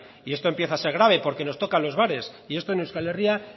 y esto empieza a ser grave porque nos tocan los bares y esto en euskal herria